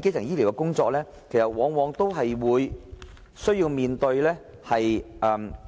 基層醫療的工作往往是以